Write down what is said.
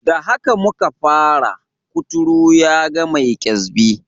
Da haka muka fara, kuturu yaga mai kyasbi.